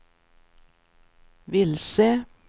vilse